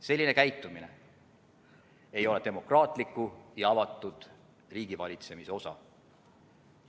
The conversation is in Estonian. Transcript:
Selline käitumine ei ole demokraatliku ja avatud riigivalitsemise osa.